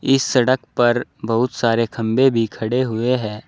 इस सड़क पर बहुत सारे खंभे भी खड़े हुए हैं।